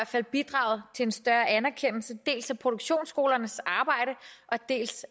fald bidraget til en større anerkendelse af dels produktionsskolernes arbejde dels